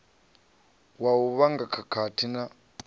wa u vhanga khakhathi na